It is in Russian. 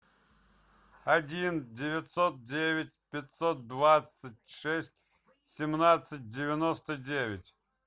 один девятьсот девять пятьсот двадцать шесть семнадцать девяносто девять